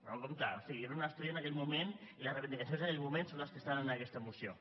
no compte o sigui era un estudi en aquell moment i les reivindicacions en aquell moment són les que estan en aquesta moció